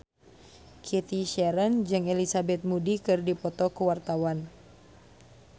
Cathy Sharon jeung Elizabeth Moody keur dipoto ku wartawan